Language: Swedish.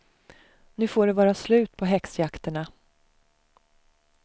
Nu får det vara slut på häxjakterna.